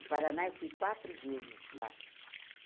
O Paraná eu fui quatro vezes lá.